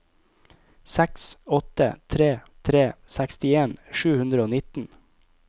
seks åtte tre tre sekstien sju hundre og nitten